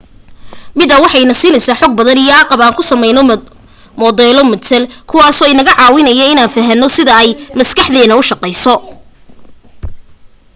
midaan waxa ay ina siineysa xog badan iyo agab aan ku sameyno modelo matal kuwaaso inaga caawinaya inaan fahano sida ay maskaxdeeda ushaqeyso